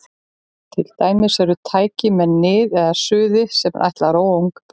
Til dæmis eru til tæki með nið eða suði sem ætlað er að róa ungbörn.